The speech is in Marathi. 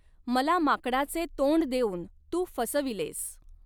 मला माकडाचे तोंड देऊन तू फसविलेस.